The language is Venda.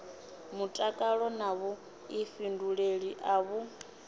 mutakalo na vhuḓifhinduleli a vhu